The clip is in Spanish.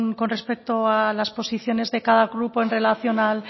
con respecto a las posiciones de cada grupo en relación al